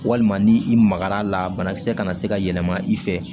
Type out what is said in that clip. Walima ni i magar'a la banakisɛ kana se ka yɛlɛma i fɛ